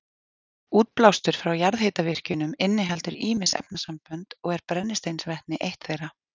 Útblástur frá jarðhitavirkjunum inniheldur ýmis efnasambönd og er brennisteinsvetni eitt þeirra.